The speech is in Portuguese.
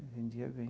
Vendia bem.